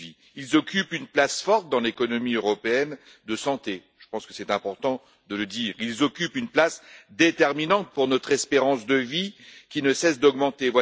Ils occupent une place prépondérante dans l'économie européenne de la santé je pense que c'est important de le dire et jouent un rôle déterminant pour notre espérance de vie, qui ne cesse d'augmenter.